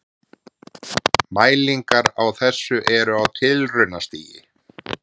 Mælingar á þessu eru á tilraunastigi.